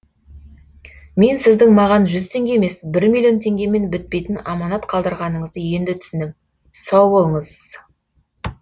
мен сіздің маған жүз теңге емес бір миллион теңгемен бітпейтін аманат қалдырғаныңызды енді түсіндім сау болыңыз